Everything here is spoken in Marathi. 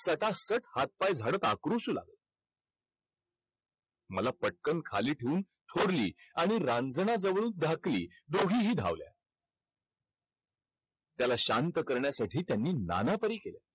सटासट हात-पाय झाडत आक्रोशू लागला. मला पटकन खाली ठेऊन थोरली आणि रांजनाजवळून धाकली दोघीही धावल्या. त्याला शांत करण्यासाठी त्यांनी नाना तऱ्हे केले.